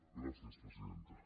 gràcies presidenta